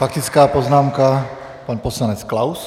Faktická poznámka - pan poslanec Klaus.